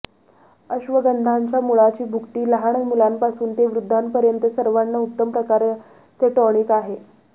अश्वगंधाच्या मुळाची भुकटी लहान मुलांपासून ते वृद्धांपर्यंत सर्वांना उत्तम प्रकारचे टॉनिक आहे